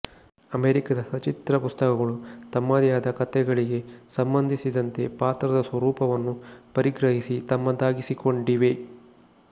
ಅಮೆರಿಕಾದ ಸಚಿತ್ರ ಪುಸ್ತಕಗಳು ತಮ್ಮದೇ ಆದ ಕಥೆಗಳಿಗೆ ಸಂಬಂಧಿಸಿದಂತೆ ಪಾತ್ರದ ಸ್ವರೂಪವನ್ನು ಪರಿಗ್ರಹಿಸಿ ತಮ್ಮದಾಗಿಸಿಕೊಂಡಿವೆ